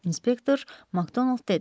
Inspektor Makdonald dedi.